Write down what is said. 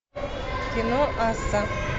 кино асса